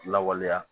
Lawaleya